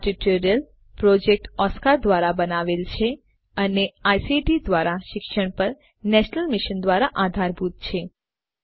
આ tutorial project Oscar ધ્વારા બનાવવામાં આવ્યો છે અને આઇસીટી એમએચઆરડી ભારત સરકાર દ્વારા શિક્ષણ પર નેશનલ મિશન દ્વારા આધારભૂત છે